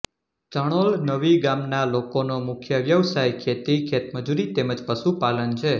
ચણોલ નવી ગામના લોકોનો મુખ્ય વ્યવસાય ખેતી ખેતમજૂરી તેમ જ પશુપાલન છે